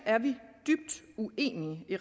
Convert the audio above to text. er vi dybt uenige i